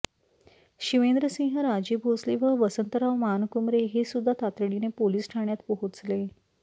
शिवेंद्रसिंहराजे भोसले व वसंतराव मानकुमरे हे सुद्धा तातडीने पोलिस ठाण्यात पोहोचले